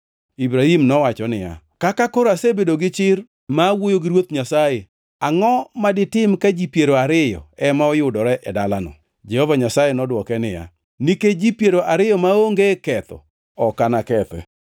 Ibrahim nowacho niya, “Kaka koro asebedo gi chir ma wuoyo gi Ruoth Nyasaye, angʼoma ditim ka ji piero ariyo ema oyudore e dalano?” Jehova Nyasaye nodwoke niya, “Nikech ji piero ariyo maonge ketho ok anakethe.”